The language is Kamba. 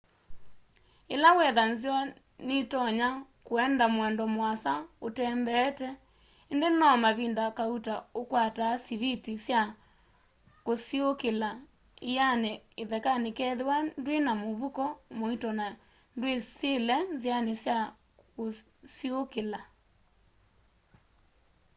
ila wetha nzeo nitonya kuenda muendo muasa utembeete indi no mavinda kauta ukwataa siviti sya kusiuukila iani ithekani kethiwa ndwina muvuko muito na ndwisile nziani sya kusiuukila